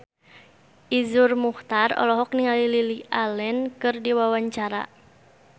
Iszur Muchtar olohok ningali Lily Allen keur diwawancara